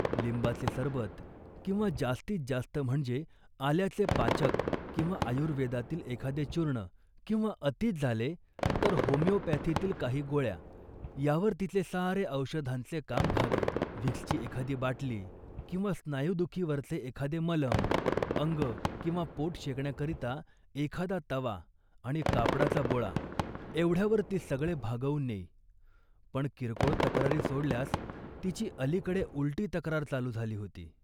लिंबाचे सरबत किंवा जास्तीत जास्त म्हणजे आल्याचे पाचक किंवा आयुर्वेदातील एखादे चूर्ण किंवा अतीच झाले तर होमिओपॅथीतील काही गोळ्या यावर तिचे सारे औषधांचे काम भागे. व्हिक्सची एखादी बाटली किंवा स्नायुदुखीवरचे एखादे मलम, अंग किंवा पोट शेकण्याकरिता एखादा तवा आणि कापडाचा बोळा एवढ्यावर ती सगळे भागवून नेई, पण किरकोळ तक्रारी सोडल्यास तिची अलीकडे उलटी तक्रार चालू झाली होती